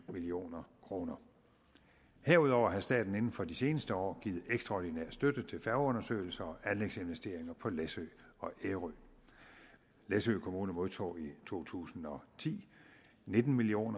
million kroner herudover har staten inden for de seneste år givet ekstraordinær støtte til færgeundersøgelser og anlægsinvesteringer på læsø og ærø læsø kommune modtog i to tusind og ti nitten million